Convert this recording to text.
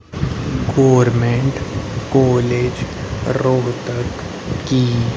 government college Rohtak की--